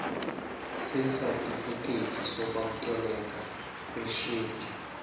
sesatifiketi sokwamkeleka kweshedi